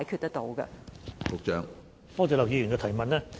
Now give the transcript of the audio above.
多謝劉議員提問。